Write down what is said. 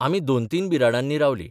आमी दोन तीन बिराडांनी रावलीं.